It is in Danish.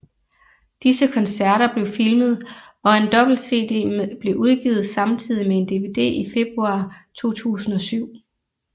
Disse koncerter blev filmet og en dobbelt CD blev udgivet samtidig med en DVD i februar 2007